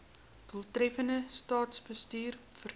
doeltreffende staatsbestuur verseker